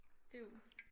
Det er jo